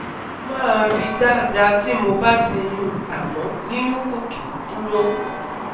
ó máa ri dada ti mo ba ti yun amo yiyun ko ki n duro